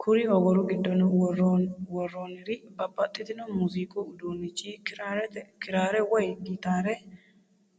Kuri ogoru giddo worronir babaxitinno muuziiqu udunnicho kiraare woy gitaare